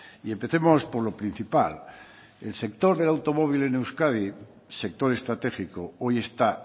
y empecemos por lo principal el sector del automóvil en euskadi sector estratégico hoy está